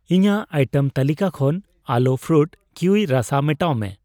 ᱤᱧᱟᱜ ᱟᱭᱴᱮᱢ ᱛᱟᱹᱞᱤᱠᱟ ᱠᱷᱚᱱ ᱟᱞᱳ ᱯᱷᱨᱩᱴ ᱠᱤᱭᱩᱭ ᱨᱟᱥᱟ ᱢᱮᱴᱟᱣ ᱢᱮ ᱾